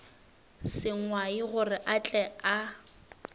sengwai gore a tle a